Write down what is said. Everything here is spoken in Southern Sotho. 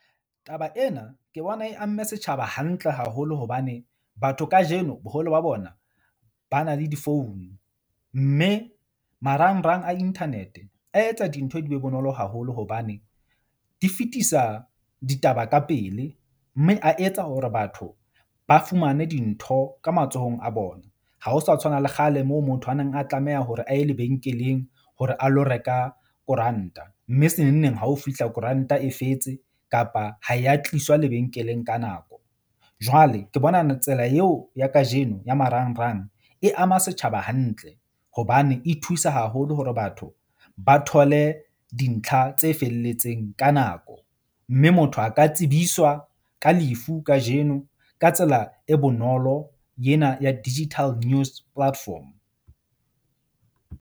Taba ena ke bona e amme setjhaba hantle haholo, hobane batho kajeno boholo ba bona ba na le di-phone. Mme marangrang a internet-e a etsa dintho di be bonolo haholo hobane di fetisa ditaba ka pele. Mme a etsa hore batho ba fumane dintho ka matsohong a bona. Ha ho sa tshwana le kgale moo motho a neng a tlameha hore a ye lebenkeleng hore a lo reka koranta mme se nengneng hao fihla koranta e fetse kapa ha ya tliswa lebenkeleng ka nako. Jwale ke bona tsela yeo ya kajeno ya marangrang e ama setjhaba hantle hobane e thusa haholo hore batho ba thole dintlha tse felletseng ka nako. Mme motho a ka tsebiswa ka lefu kajeno ka tsela e bonolo yena ya digital news platform.